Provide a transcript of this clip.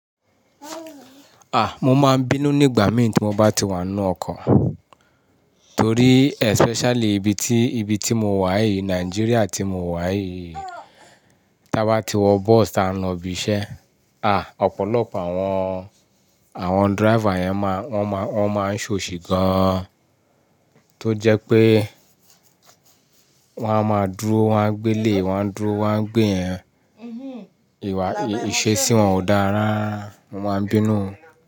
Mo máa ń bínú nígbà mí tí mo bá ti wà nínú ọkọ̀ torí especially ibi tí, ibi tí mo wà yìí, Nigeria tí mo wà yìí, tí a bá ti wọ bus tá a ń lọ ibi iṣẹ́ Ọ̀pọ̀lọpọ̀ àwọn, àwọn driver yẹn máa, wọ́n máa, wọ́n máa ń ṣọ̀ṣì gan-an tó jẹ́ pé wọ́n á máa dúró wọ́n á gbé eleyii, wọ́n á dúró wọ́n á gbé yẹn. Ìwà, ìṣe sí wọn ò dárarara, mo máa ń bínú.